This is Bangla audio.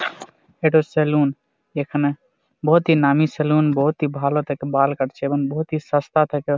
এটা সেলুন । এখানে বহতি নামি সেলুন বহতি ভালো থেকে বাল কাটছে এবং বহতি সস্তা থেকে।